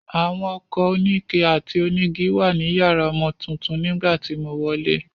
Àwọn ọkọ̀ oníke àti onígi wà ní yàrá ọmọ tuntun nígbà tí mo wọlé.